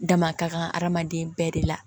Dama ka kan adamaden bɛɛ de la